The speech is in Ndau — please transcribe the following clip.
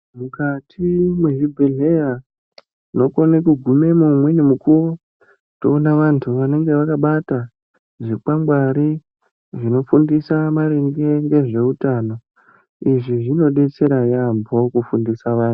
Mukati mwezvibhehleya tinokone kugumemo umweni mukuwo toona vantu vanenge vakabata zvikwangwari zvinofundisa maringe ngezveutano. Izvi zvinodetsera yaambo kufundisa vantu.